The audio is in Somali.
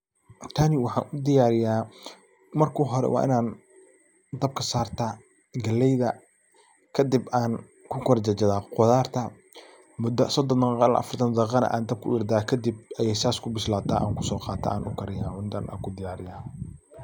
Tani waxaan u diyaariya marka hore waa inaan dabka sarta galayda kadib aan ku kor jarjara qudarta mudo sodon daqiiqo ila afartan daqiiqana aan dabka u yara daaya kadib ayay sas ku bislaata aan ku so qaata aan ku kariya cuntana aan ku diyaariya.